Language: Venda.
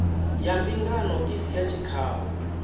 ya mbingano isi ya tshikhau